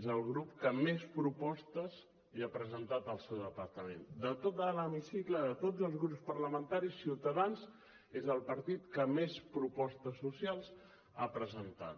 és el grup que més propostes li ha presentat al seu departament de tot l’hemicicle de tots els grups parlamentaris ciutadans és el partit que més propostes socials ha presentat